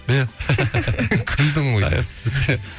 күлдің ғой